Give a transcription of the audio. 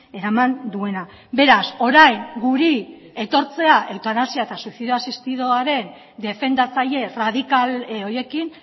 eraman duena beraz orain guri etortzea eutanasia eta suizidio asistidoaren defendatzaile erradikal horiekin